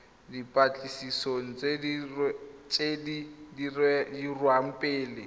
dipatlisisong tse di dirwang pele